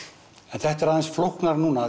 en þetta er aðeins flóknara núna